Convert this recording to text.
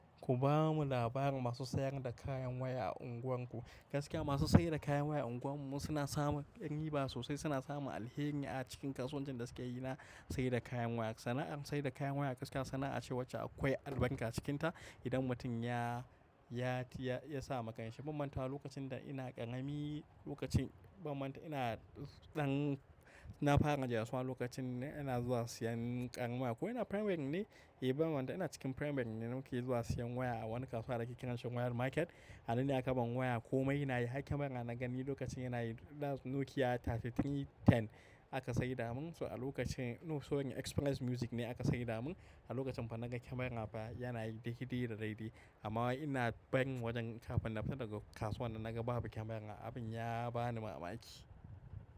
Ku bamu labarin masu sayar da kayan waya a unguwarku gaskiya masu saida kayan waya a unguwar wasuna samun riba sosai suna samun alheri a cikin kasuwancin da sukeyi na saida kayan waya. Sana'ar saida kayan waya gaskiya sana'a ce wacce akwai albarka cikinta. Idan mutum ya, ya, ya, ya sama kanshi. Bamantawa lokacin da ina ƙarami lokacin banmanta ina ɗan na fara yin js one lokacin ina zuwa siyan kayan waya. Ko ina primary ne? Eh banmanta ina cikin primariy ne muke zuwa siyan waya a wani kasuwa da ake kiransa wayar market. Anan ne aka bani waya komai na yi. Har kyamara na gani lokacin yana yi thats Nokia ta 3310 aka sai da mun. To a lokacin, sorry Xpress Music ne aka sai da mun. A lokacin fa naga kyamara fa yana yi daidai da daidai. Amma ina barin wajen kafin nafita daga kasuwan nan naga babu kyamara abin ya bani mamaki.